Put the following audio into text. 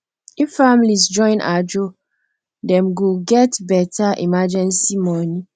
if families join ajo dem go get better emergency money